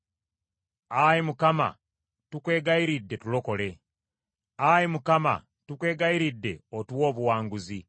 Ayi Mukama tukwegayiridde, tulokole, Ayi Mukama tukwegayiridde otuwe obuwanguzi.